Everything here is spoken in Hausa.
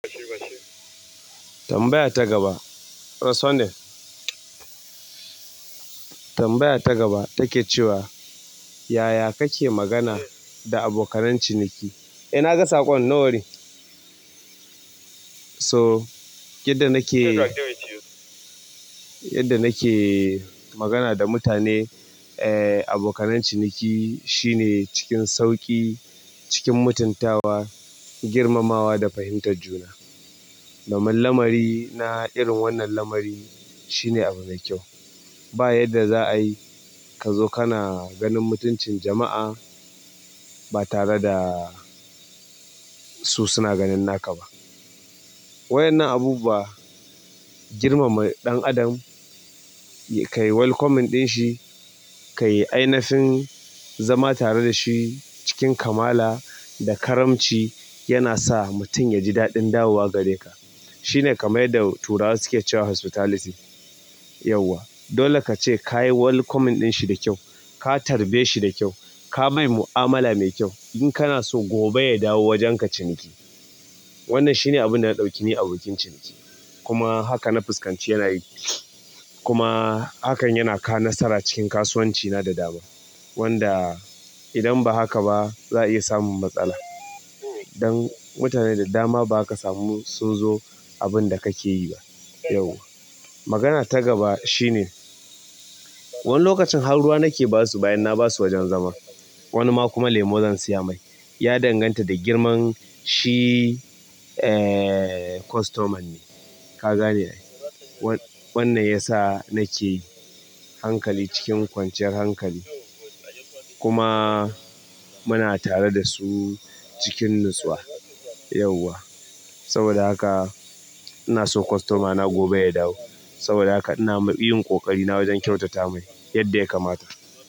Tambaya ta gaba, reasoning. Tambaya ta gaba take cewa, yaya kake magana da abokanan ciniki? Eh na ga saƙon, no worry. To, yadda nake, yadda nake magana da mutane, eh abokananciniki shine cikin sauƙi, cikin mutuntawa, girmamawa da fahimtar juna. Kaman lamari na irin wannan lamari shine abu mai kyau. Ba yadda za a yi ka zo kana ganin mutuncin jama'a ba tare da su suna ganin naka ba. Waƴannan abu bu wa girmama ɗan adam, ka yi welcoming ɗin shi, ka yi ainishin zama tare da shi cikin kamala da karamci yana sa mutum ya ji daɗin dawowa gare ka. Shine kaman yadda turawa suna cewa sutalicy, yauwa. Dole ka ce ka yi welcoming ɗin shi da kyau, ka tarbe shi da kyau, ka mai mu'amala mai kyau in kana so gobe ya dawo wajen ka ciniki. Wannan shine abin da na ɗauki ni abokin ciniki. Kuma haka na fuskanci yana yi, kuma hakan yana kawo nasara cikin kasuwanci na da dama. Wanda idan ba haka ba za a iya samun matsala. Dan mutane da dama ba ka samu sun zo abin da kake yi ba yauwa. Magana ta gaba shine, wani lokacin ha ruwa nake basu bayan na basu wajen zama. Wani ma kuma lemo zan siya mai. Ya danganta da girman shi ee customan ne, ka gane wann- wannan yasa nake hankali cikin kwanciyar hankali. Kuma muna tare da su cikin natsuwa yauwa. Saboda haka ina so kostomana gobe ya dawo. Saboda haka ina ma yin ƙoƙari na wajen kyautata mai yadda ya kamata.